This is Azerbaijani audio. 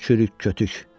Çürük kötük!